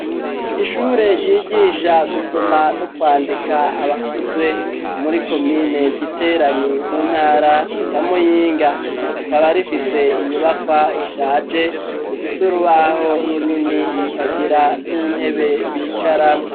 Ishure ryigisha gusoma no kwandika abakuze muri komine giteranyi mu ntara ya muyinga rikaba rifise inyubakwa ishaje rifise urubaho runini ikagira n'intebe bicaramwo.